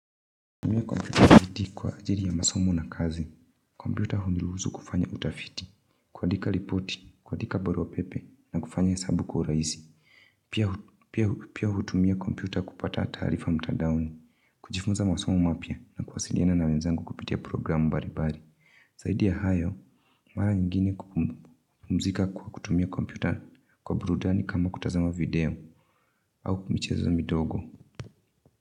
Kwa kutumia kompyuta kwa ajili ya masomo na kazi, kompyuta huniruhusu kufanya utafiti, kuandika ripoti, kuandika barua pepe na kufanya hesabu kwa urahisi, pia hutumia kompyuta kupata taarifa mtandaoni, kujifunza masomo mapya na kuwasiliana na wenzangu kupitia programu mbalimbali, zaidi ya hayo, mara nyingine kupumzika kwa kutumia kompyuta kwa burudani kama kutazama video, au michezo midogo.